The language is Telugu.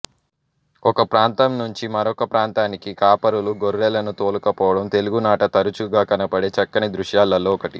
ఒక ప్రాంతం నుంచి మరొక ప్రాంతానికి కాపరులు గొర్రెలను తోలుకుపోవడం తెలుగునాట తరుచుగా కనబడే చక్కని దృశ్యాలలో ఒకటి